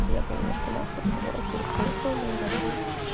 у меня был немножко насморк думала окей поехала на аэродром